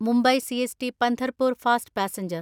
Mumbai CST Pandharpur fast passenger